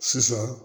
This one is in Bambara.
Sisan